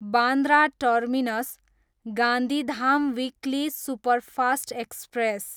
Bandra terminus, Gandhidham weekly superfast express